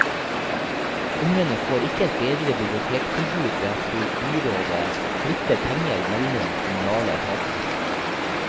Ungene får ikke et bedre bibliotektilbud ved at byrådet flytter penger mellom kommunale etater.